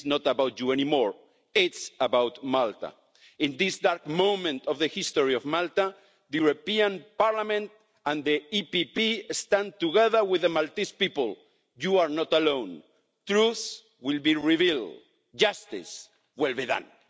This is not about you anymore it's about Malta. In this dark moment of the history of Malta, the European Parliament and the EPP stand together with the Maltese people. You are not alone. Truth will be revealed. Justice will be done.